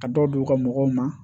Ka dɔ di u ka mɔgɔw ma